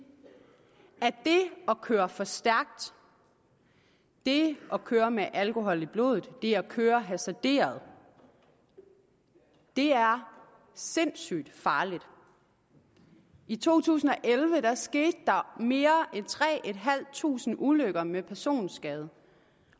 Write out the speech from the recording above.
at det at køre for stærkt det at køre med alkohol i blodet det at køre hasarderet er sindssygt farligt i to tusind og elleve skete der mere end tre tusind ulykker med personskade